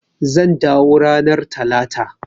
Zan dawo ranar Talata.